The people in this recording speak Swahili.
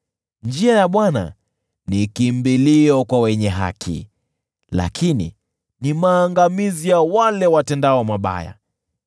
Njia ya Bwana ni kimbilio kwa wenye haki, lakini ni maangamizi ya wale watendao mabaya.